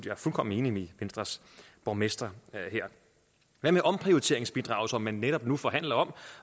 er fuldkommen enig med venstres borgmester her hvad med omprioriteringsbidraget som man netop nu forhandler om